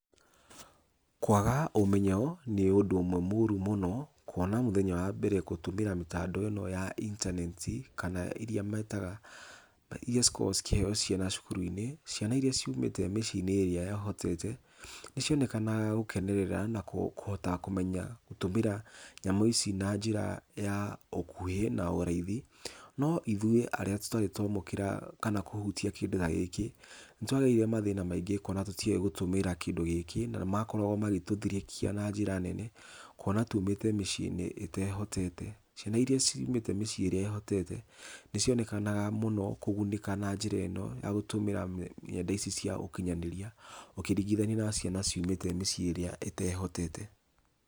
Kwaga ũmenyo nĩ ũndũ ũmwe mũru mũno, kuona mũthenya wa mbere gũtũmĩra mĩtambo ya intaneti ,kana ĩrĩa metaga , ĩrĩa cikoragwo cikĩheo ciana cukuru-inĩ, ciana iria ciumĩte mĩciĩ ĩrĩa ĩhotete, nĩ cionekaga gũkenerera na kũhota gũtũmĩra nyamũ ici na njĩra ya ũkuhĩ na raithi, no ithuĩ arĩa tũrarĩ twa mũkĩra kana kũhutia kĩndũ ta gĩkĩ, nĩtwa gereire mathĩna maingĩ kuona tũtioĩ gũtũmĩra kĩndũ ta gĩkĩ, na nĩ makoragwo magĩtũthirĩkia na njĩra nene, kuona tũmĩte mĩciĩ ĩtehotete, ciana iria ciumĩte mĩciĩ ĩrĩa ĩhotete, nĩ ci onekanaga mũno kũgunĩka na njĩra ĩno ,ya gũtũmĩra nenda ici cia ũkinyanĩria ũkĩringithania na ciana iria ciumĩte mĩciĩ ĩtehotete.